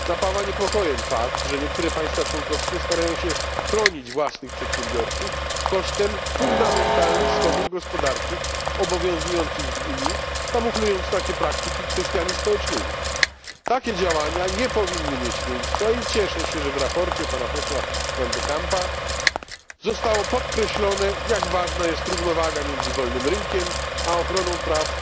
Napawa niepokojem fakt, że niektóre państwa członkowskie starają się chronić własnych przedsiębiorców kosztem fundamentalnych swobód gospodarczych obowiązujących w Unii, kamuflując takie praktyki kwestiami społecznymi. Takie działania nie powinny mieć miejsca i cieszę się, że w sprawozdaniu pana posła van de Campa zostało podkreślone, jak ważna jest równowaga między wolnym rynkiem a ochroną praw